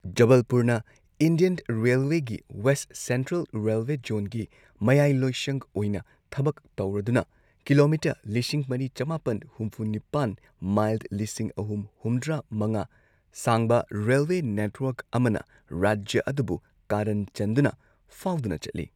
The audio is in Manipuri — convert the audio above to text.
ꯖꯕꯜꯄꯨꯔꯅ ꯏꯟꯗꯤꯌꯟ ꯔꯦꯜꯋꯦꯒꯤ ꯋꯦꯁꯠ ꯁꯦꯟꯇ꯭ꯔꯦꯜ ꯔꯦꯜꯋꯦ ꯖꯣꯟꯒꯤ ꯃꯌꯥꯏꯂꯣꯏꯁꯪ ꯑꯣꯏꯅ ꯊꯕꯛ ꯇꯧꯔꯗꯨꯅ ꯀꯤꯂꯣꯃꯤꯇꯔ ꯂꯤꯁꯤꯡ ꯃꯔꯤ ꯆꯃꯥꯄꯟ ꯍꯨꯝꯐꯨ ꯅꯤꯄꯥꯟ ꯃꯥꯏꯜ ꯂꯤꯁꯤꯡ ꯑꯍꯨꯝ ꯍꯨꯝꯗ꯭ꯔꯥ ꯃꯉꯥ ꯁꯥꯡꯕꯔꯦꯜꯋꯦ ꯅꯦꯠꯋꯥꯔꯛ ꯑꯃꯅ ꯔꯥꯖ꯭ꯌ ꯑꯗꯨꯕꯨ ꯀꯥꯔꯟ ꯆꯟꯗꯨꯅ ꯐꯥꯎꯗꯨꯅ ꯆꯠꯂꯤ꯫